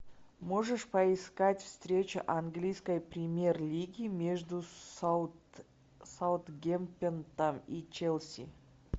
можешь поискать встреча английской премьер лиги между саутгемптоном и челси